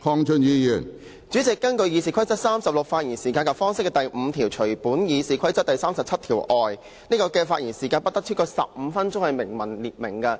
主席，根據《議事規則》第36條"發言時間及方式"，當中第5款訂明："除本議事規則第37條......發言不得超過15分鐘......